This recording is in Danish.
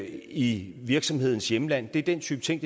i virksomhedens hjemland det er den type ting